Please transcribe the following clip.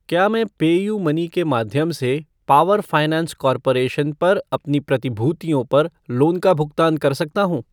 क्या मैं पेयूमनी के माध्यम से पावर फ़ाइनेंस कॉर्पोरेशन पर अपनी प्रतिभूतियों पर लोन का भुगतान कर सकता हूँ?